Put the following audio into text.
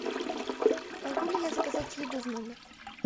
могу ли я заказать еду в номер